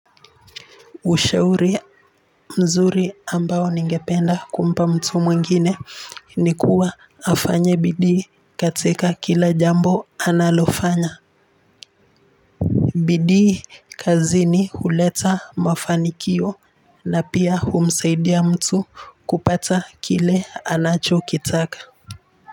Ushauri mzuri ambao ningependa kumpa mtu mwingine ni kuwa afanye bidii katika kila jambo analofanya. Bidii kazini huleta mafanikio na pia humsaidia mtu kupata kile anachokitaka.